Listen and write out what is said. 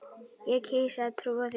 Ég kýs að trúa því.